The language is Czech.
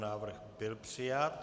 Návrh byl přijat.